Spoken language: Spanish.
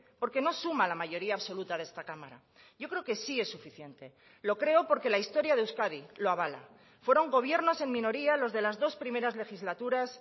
porque no suma la mayoría absoluta de esta cámara yo creo que sí es suficiente lo creo porque la historia de euskadi lo avala fueron gobiernos en minoría los de las dos primeras legislaturas